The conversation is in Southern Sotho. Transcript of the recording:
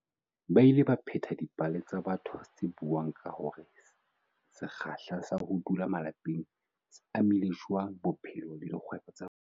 Ba ile ba pheta dipale tsa batho tse buang ka hore se kgahla sa ho dula malapeng se amile jwang bophelo le dikgwebong tsa bona.